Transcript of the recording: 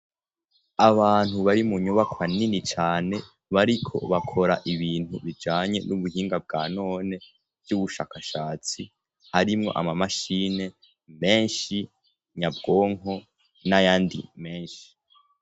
abantu bari mu nyubakwa nini cane bariko bakora ibintu bijanye n'ubuhinga bwa none by'ubushakashatsi harimwo amamashine menshi nyabwonko n'ayandi menshi